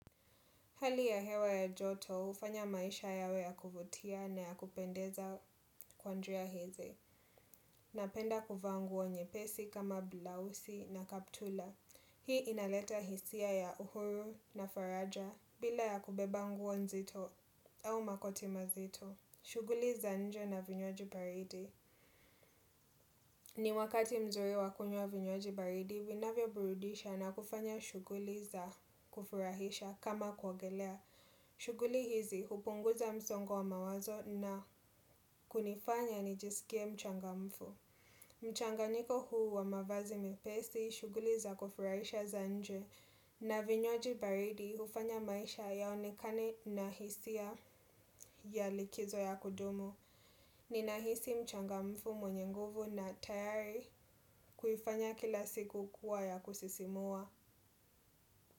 Hali ya hewa ya joto, hufanya maisha yawe ya kuvutia na ya kupendeza kwa njia hizi. Napenda kuvaa nguo nyepesi kama blausi na kaptura. Hii inaleta hisia ya uhuru na faraja bila ya kubeba nguo nzito au makoti mazito. Shughuli za nje na vinywaji baridi. Ni wakati mzuri wa kunywa vinywaji baridi, vinavyoburudisha na kufanya shughuli za kufurahisha kama kuogelea. Shughuli hizi hupunguza msongo wa mawazo na kunifanya nijisikie mchangamfu. Mchanganyiko huu wa mavazi mepesi, shughuli za kufurahisha za nje. Na vinywaji baridi, hufanya maisha yaonekane na hisia ya likizo ya kudumu. Ninahisi mchangamfu mwenye nguvu na tayari kuifanya kila siku kuwa ya kusisimua.